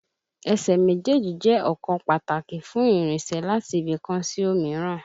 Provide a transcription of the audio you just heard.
Ẹsẹ̀ méjèèjì jẹ́ ọ̀kan pàtàkì fún ìrìnsẹ̀ láti ibì kan sí òmíràn